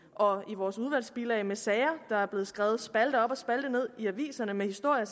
og i vores udvalgsbilag med sager der er blevet skrevet spalte op og spalte ned i aviserne om historier